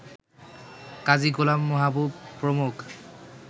কাজী গোলাম মাহবুব প্রমুখ